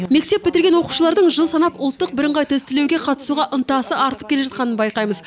мектеп бітірген оқушылардың жыл санап ұлттық бірыңғай тестілеуға қатысуға ынтасының артып келе жатқанын байқаймыз